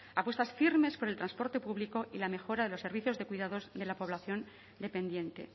apuestas firmes por el transporte público y la mejora de los servicios de cuidados de la población dependiente